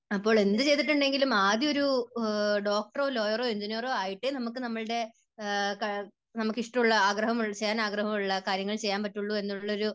അപ്പോൾ എന്ത് ചെയ്തിട്ടുണ്ടെങ്കിലും ആദ്യം ഒരു ഡോക്ടറോ ലോയറോ എൻജിനീയറോ ആയിട്ടേ നമുക്ക് നമ്മുടെ നമുക്ക് ഇഷ്ടമുള്ള, ആഗ്രഹം ചെയ്യാൻ ആഗ്രഹമുള്ള കാര്യങ്ങൾ ചെയ്യാൻ പറ്റുകയുള്ളൂ എന്നുള്ള ഒരു